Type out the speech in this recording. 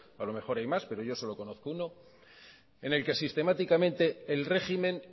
a lo mejor hay más pero yo solo conozco uno en el que sistemáticamente el régimen